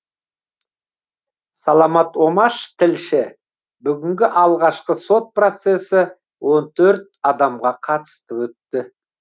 саламат омаш тілші бүгінгі алғашқы сот процессі он төрт адамға қатысты өтті